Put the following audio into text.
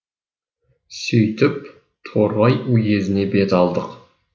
сөйтіп торғай уезіне бет алдық